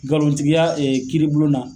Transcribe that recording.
Nkalontigiya kiribon na.